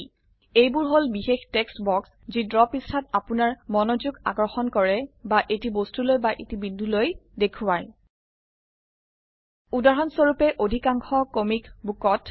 এইবোৰ হল বিশেষ টেক্সট বক্স যি ড্ৰ পৃষ্ঠাত আপোনাৰ মনোযোগ আকৰ্ষণ কৰে বা এটি বস্তুলৈ বা এটি বিন্দুলৈ দেখোৱাই উদাহৰণস্বৰুপে অধিকাংশ কমিক বুকত